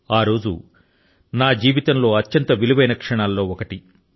ఆ రోజు నా జీవితం లో అత్యంత విలువైన క్షణాల్లో ఒకటి